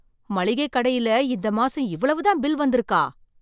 மளிகை கடையில் இந்த மாசம் இவ்வளவுதான் பில் வந்து இருக்கா!